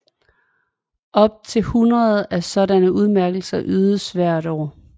Op til hundrede af sådanne udmærkelser ydes hvert år